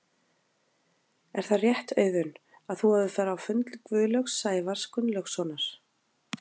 Er það rétt Auðun að þú hafir farið á fund Gunnlaugs Sævars Gunnlaugssonar?